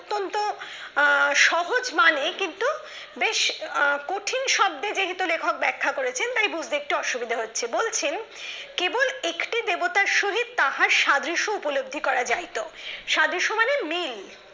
সহজ মানে কিন্তু বেশ কঠিন শব্দে যেহেতু লেখক ব্যাখ্যা করেছেন তাই বুঝতে একটু অসুবিধা হচ্ছে বলছেন কেবল একটি দেবতার সহিত তাহাজ সাদৃশ্য উপলব্ধি করা যাইতো সাদৃশ্য মানে মিল